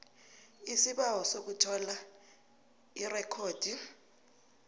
isibawo sokuthola irekhodi